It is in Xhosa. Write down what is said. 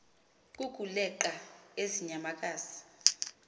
kukuleqa ezi nyamakazi